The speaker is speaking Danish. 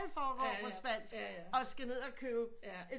Alt forgår på spansk og skal ned og købe et